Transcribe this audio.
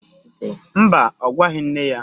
Mba, ọ gwaghị nne ya